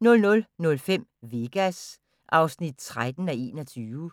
00:05: Vegas (13:21)